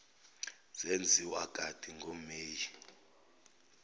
zenziwa kati ngomeyi